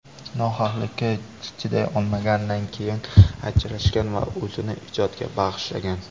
Nohaqlikka chiday olmaganidan keyin ajrashgan va o‘zini ijodga bag‘ishlagan.